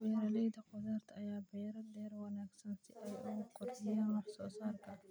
Beeralayda khudaarta ayaa beera dhir wanaagsan si ay u kordhiyaan wax soo saarka.